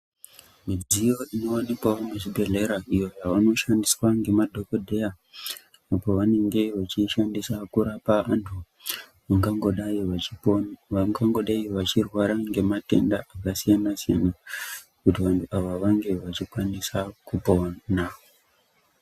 Midziyo inowanikwa muzvibhedhera iyo inoshandiswa ngemadhogodheya apo vanenge vechiishandisa kurapa vantu vangangodai vechirwara ngematenda akasiyanasiyana kuti ava vantu vange vachikwanisa kupona.